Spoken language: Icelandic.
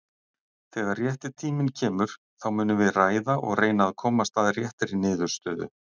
Þegar rétti tíminn kemur, þá munum við ræða og reyna að komast að réttri niðurstöðu.